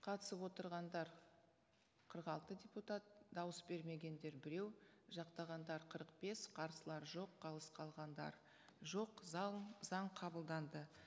қатысып отырғандар қырық алты депутат дауыс бермегендер біреу жақтағандар қырық бес қарсылар жоқ қалыс қалғандар жоқ заң заң қабылданды